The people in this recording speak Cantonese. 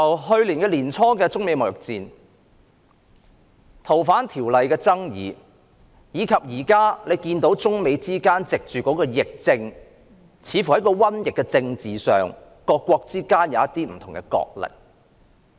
去年年初有中美貿易戰，再有《逃犯條例》的爭議，現時中美或各國藉疫症展開政治上的角力。